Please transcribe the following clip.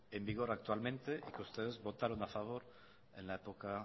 en vigor actualmente y que ustedes votaron a favor en la época